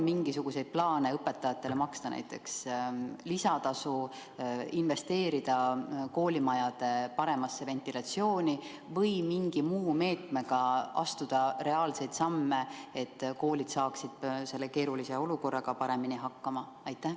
Kas on plaanis maksta õpetajatele näiteks lisatasu, investeerida koolimajade paremasse ventilatsiooni või mingi muu meetmega astuda reaalseid samme, et koolid saaksid selles keerulises olukorras paremini hakkama?